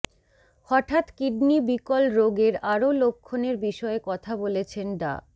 হঠাৎ কিডনি বিকল রোগের আরো লক্ষণের বিষয়ে কথা বলেছেন ডা